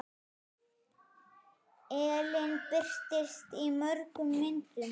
Ellin birtist í mörgum myndum.